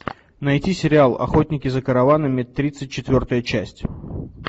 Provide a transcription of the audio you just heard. найти сериал охотники за караванами тридцать четвертая часть